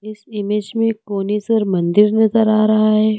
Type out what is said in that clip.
इस इमेज में कोनेश्वर मंदिर नजर आ रहा है।